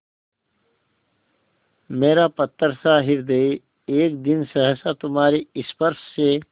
मेरा पत्थरसा हृदय एक दिन सहसा तुम्हारे स्पर्श से